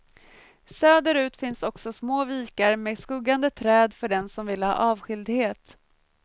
Söderut finns också små vikar med skuggande träd för den som vill ha avskildhet.